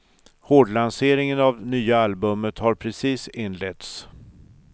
Hårdlanseringen av nya albumet har precis inletts.